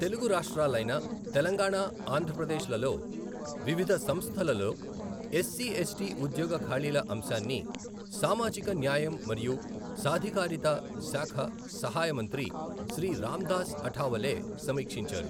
తెలుగు రాష్ట్రాలైన తెలంగాణ, ఆంధ్ర ప్రదేశ్ లలో వివిధ సంస్థలలో ఎస్సి, ఎస్టి ఉద్యోగ ఖాళీల అంశాన్ని సామాజిక న్యాయం మరియు సాధికారిత శాఖ సహాయ మంత్రి శ్రీ రామ్దాస్ అఠావలే సమీక్షించారు.